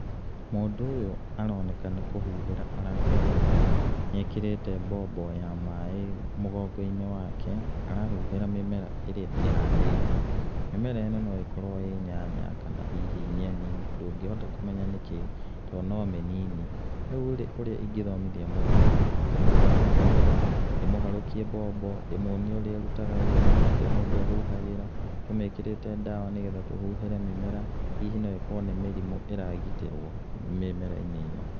Mũndũ ũyũ aroneka nĩ kũhuhĩra rahuhĩra, nĩ ekĩrĩte mbombo ya maĩ mũgongo-inĩ wake, arahuhĩra mĩmera ĩríĩ ĩhandĩtwo, mĩmera ĩno no ĩkorwo ĩ nyanya kana hihi nyeni, ndũngĩhota kũmenya nĩkĩ, tondũ no mĩnini. Rĩu rĩ ũrĩa ingĩtomithia mũndũ rĩ, ingĩmũtwara mũgũnda, ndĩmũharũkie mbombo, ndĩmuonie ũrĩa ĩrutaga wĩra, ũrĩa mũndũ ahuhagĩra, tũmĩkĩrĩte ndawa nĩ getha tũhuhĩre mĩmera, hihi okorwo nĩ mĩrimũ ĩragitĩrwo mĩmera-inĩ ĩno.